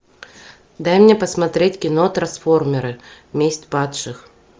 дай мне посмотреть кино трансформеры месть падших